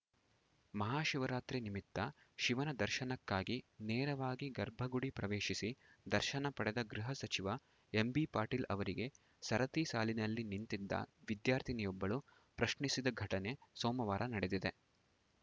ಮಹಾಶಿವರಾತ್ರಿ ನಿಮಿತ್ತ ಶಿವನ ದರ್ಶನಕ್ಕಾಗಿ ನೇರವಾಗಿ ಗರ್ಭಗುಡಿ ಪ್ರವೇಶಿಸಿ ದರ್ಶನ ಪಡೆದ ಗೃಹಸಚಿವ ಎಂಬಿಪಾಟೀಲ್‌ ಅವರಿಗೆ ಸರತಿ ಸಾಲಿನಲ್ಲಿ ನಿಂತಿದ್ದ ವಿದ್ಯಾರ್ಥಿನಿಯೊಬ್ಬಳು ಪ್ರಶ್ನಿಸಿದ ಘಟನೆ ಸೋಮವಾರ ನಡೆದಿದೆ